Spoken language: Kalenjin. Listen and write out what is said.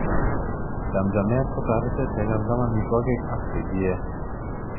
Chamchamet kotoretech kechamcham amitwogik ak che kiee.